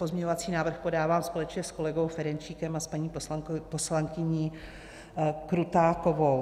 Pozměňovací návrh podávám společně s kolegou Ferjenčíkem a s paní poslankyní Krutákovou.